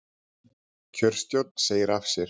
Kjörstjórn segir af sér